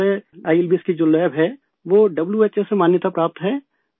ہمارے I L B S کا جو لیب ہے ، وہ ڈبلیو ایچ او سے تصدیق شدہ ہے